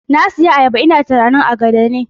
Na siyo ayaba ina tunanin agada ne